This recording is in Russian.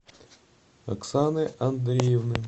оксаны андреевны